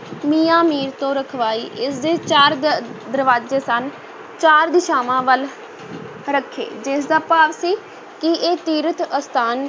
ਮੀਆਂ ਮੀਰ ਤੋਂ ਰਖਵਾਈ, ਇਸ ਦੇ ਚਾਰ ਦ~ ਦਰਵਾਜ਼ੇ ਸਨ, ਚਾਰ ਦਿਸ਼ਾਵਾਂ ਵੱਲ ਰੱਖੇ, ਜਿਸ ਦਾ ਭਾਵ ਸੀ ਕਿ ਇਹ ਤੀਰਥ-ਅਸਥਾਨ